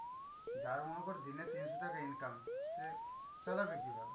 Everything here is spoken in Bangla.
যার মনে কর দিনে তিনশ টাকা income, সে চালাবে কিভাবে?